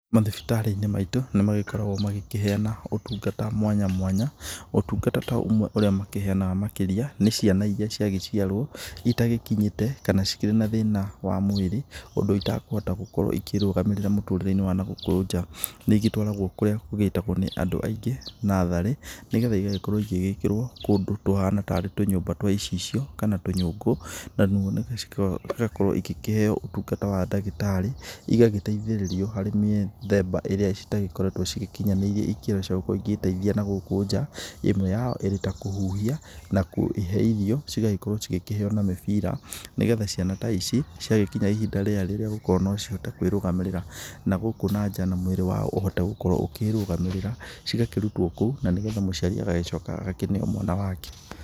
Mathibitarĩ-inĩ maitũ nĩ magĩkoragwo magĩkĩheana ũtungata mwanya mwanya, ũtungata ta ũmwe ũrĩa makĩheanaga makĩria, nĩ ciana iria cia gĩgiarwo, itagĩkinyĩte kana cikĩrĩ na thĩna wa mwĩrĩ ũndũ itakũhota gũkorwo ikĩĩrũgamĩrĩra mũtũrĩre-inĩ wa nagũkũ nja, nĩ igĩtwaragwo kũrĩa gũgĩĩtagwo nĩ andũ aingĩ natharĩ, nĩgetha igagĩkorwo ĩgĩgĩkĩrwo kũndũ kũhana tarĩ tũnyũmba twa icicio kana tũnyũngũ, cigakorwo igĩkĩheo ũtungata wa ndagĩtarĩ, igagĩteithĩrĩrio harĩ mĩthemba ĩrĩa citagĩkoretwo cigĩkinyanĩirie ikĩro cia gũkorwa igĩteithia nagũkũ nja, ĩmwe yao ikĩrĩ kũhuhia na kwĩhe irio, cigagĩkorwo cigĩkĩheo na mĩbira, nĩgetha ciana ta ici ciagĩkinya ihinda rĩega rĩagũkorwo no cihote kwĩrũgamĩrĩra nagũkũ nanja na mwĩrĩ wao ũhote gũkorwo ũkĩrũgamĩrĩra, cigakĩrutwo kũu na nĩgetha mũciari agagĩcoka agakĩneo mwana wake.